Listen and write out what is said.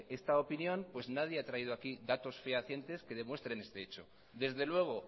esta opinión pues nadie ha traído aquí datos fehacientes que demuestren este hecho desde luego